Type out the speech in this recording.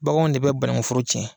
Baganw de bɛ banankun foro tiɲɛ!